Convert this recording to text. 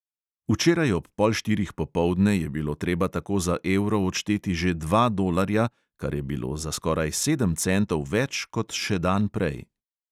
Včeraj ob pol štirih popoldne je bilo treba tako za evro odšteti že dva dolarja, kar je bilo za skoraj sedem centov več kot še dan prej.